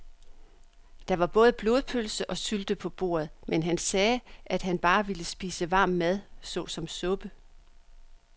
Der var både blodpølse og sylte på bordet, men han sagde, at han bare ville spise varm mad såsom suppe.